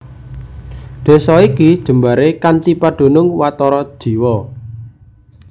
Desa iki jembaré kanthi padunung watara jiwa